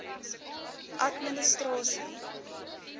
administrasie